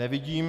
Nevidím.